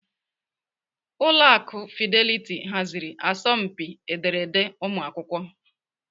Ụlọ akụ Fidelity haziri asọmpi ederede ụmụakwụkwọ.